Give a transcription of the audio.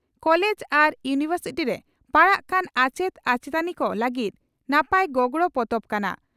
College ᱟᱨ university ᱨᱮ ᱯᱟᱲᱦᱟᱣ ᱠᱟᱱ ᱟᱪᱮᱛ ᱟᱪᱮᱛᱟᱱᱤ ᱠᱚ ᱞᱟᱹᱜᱤᱫ ᱱᱟᱯᱟᱭ ᱜᱚᱜᱚᱲᱚ ᱯᱚᱛᱚᱵ ᱠᱟᱱᱟ ᱾